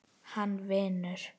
Hann vinur.